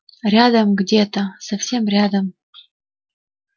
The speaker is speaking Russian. рядом где-то совсем рядом